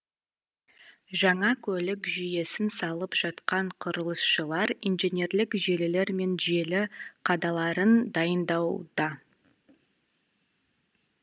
жаңа көлік жүйесін салып жатқан құрылысшылар инженерлік желілер мен желі қадаларын дайындауда